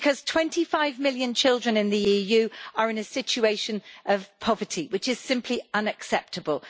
Twenty five million children in the EU are in a situation of poverty, which is simply unacceptable.